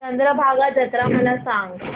चंद्रभागा जत्रा मला सांग